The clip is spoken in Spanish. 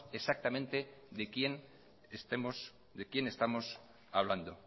exactamente de quién estamos hablando